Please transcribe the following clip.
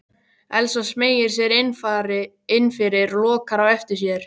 Elsa smeygir sér innfyrir og lokar á eftir sér.